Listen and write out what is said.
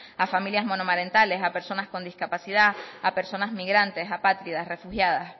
a familias monomarentales a personas con discapacidad a personas migrantes apátridas refugiadas